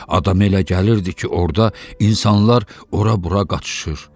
Adam elə gəlirdi ki, orda insanlar ora-bura qaçışır.